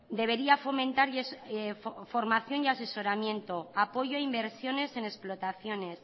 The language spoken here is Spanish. debería fomentar la formación y asesoramiento apoyo a inversiones en explotaciones